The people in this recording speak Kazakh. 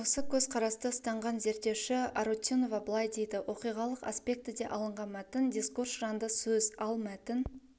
осы көзқарасты ұстанған зерттеуші арутюнова былай дейді оқиғалық аспектіде алынған мәтін дискурс жанды сөз ал мәтін